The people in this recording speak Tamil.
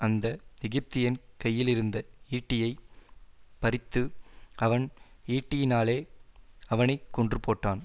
அந்த எகிப்தியன் கையிலிருந்த ஈட்டியைப் பறித்து அவன் ஈட்டியினாலே அவனை கொன்றுபோட்டான்